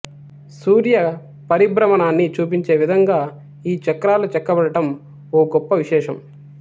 సూర్య పరిభ్రమణాన్ని చూపించే విధంగా ఈ చక్రాలు చెక్కబడడం ఓ గొప్ప విశేషం